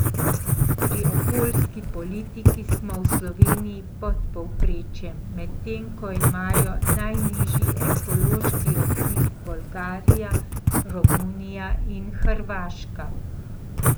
Pri okoljski politiki smo v Sloveniji pod povprečjem, medtem ko imajo najnižji ekološki odtis Bolgarija, Romunija in Hrvaška.